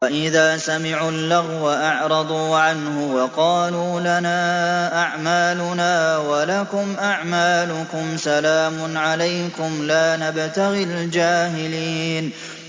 وَإِذَا سَمِعُوا اللَّغْوَ أَعْرَضُوا عَنْهُ وَقَالُوا لَنَا أَعْمَالُنَا وَلَكُمْ أَعْمَالُكُمْ سَلَامٌ عَلَيْكُمْ لَا نَبْتَغِي الْجَاهِلِينَ